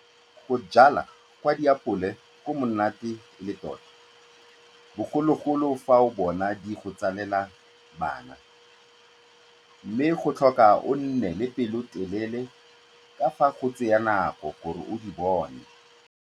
Go jwalwa gwa diapole go monate e le tota bogolo-bogolo fa o bona di go tsalela bana, mme go tlhoka o nne le pelotelele ka fa go tsaya nako gore o di bone.